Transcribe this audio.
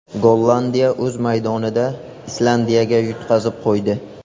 Gollandiya o‘z maydonida Islandiyaga yutqazib qo‘ydi.